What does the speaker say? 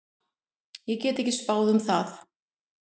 Ég get ekki spáð um það.